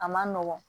A man nɔgɔn